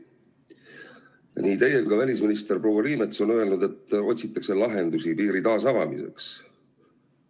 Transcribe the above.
Nii teie kui ka välisminister proua Liimets on öelnud, et otsitakse lahendusi piiri taasavamiseks.